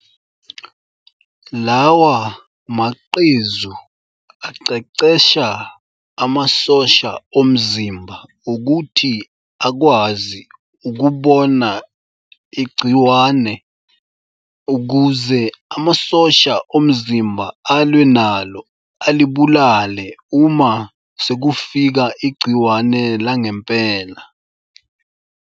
Lawa macezu aqeqesha amasosha omzimba ukuthi akwazi ukubona igciwane ukuze amasosha omzimba alwe nalo alibulale uma sekufika igciwane langempela.